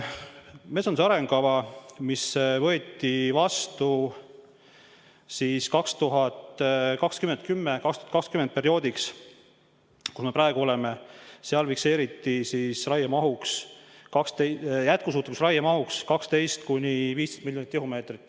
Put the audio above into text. Metsanduse arengukavas, mis võeti vastu perioodiks 2010–2020, kus me praegu oleme, fikseeriti jätkusuutlikus raiemahuks 12–15 miljonit tihumeetrit.